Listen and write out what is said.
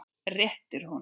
Réttir honum.